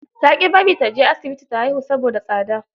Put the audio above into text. Ta ƙi bari ta je asibiti ta haihu, saboda tsada.